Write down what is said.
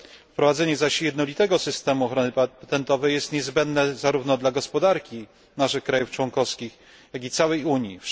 Wprowadzenie zaś jednolitego systemu ochrony patentowej jest niezbędne zarówno dla gospodarki naszych krajów członkowskich, jak i całej Unii.